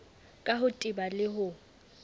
ka ho teba le ho